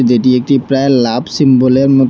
যেটি একটি প্রায় লাভ সিম্বলের মতো।